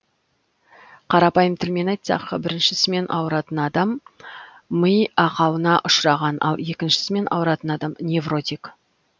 қарапайым тілмен айтсақ біріншісімен ауыратын адам ми ақауына ұшыраған ал екіншісімен ауыратын адам невротик